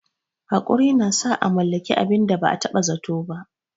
Haƙuri na sa a mallaki abin da ba a taɓa zato ba.